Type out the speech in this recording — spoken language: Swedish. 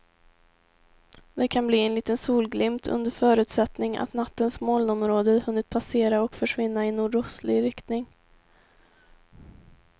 Det kan bli en liten solglimt under förutsättning att nattens molnområde hunnit passera och försvinna i nordostlig riktning.